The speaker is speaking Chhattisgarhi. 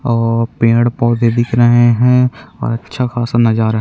और पेड़-पौधे दिख रहे है और अच्छा खासा नज़ारा हे।